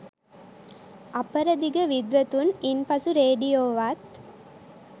අපරදිග විද්වතුන් ඉන්පසු රේඩියෝවත්